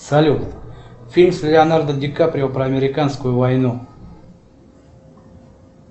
салют фильм с леонардо ди каприо про американскую войну